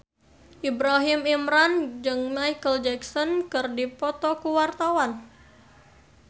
Ibrahim Imran jeung Micheal Jackson keur dipoto ku wartawan